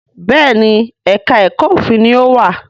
Béèni èka èko òfin ní o wá.